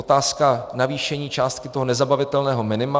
Otázka navýšení částky toho nezabavitelného minima.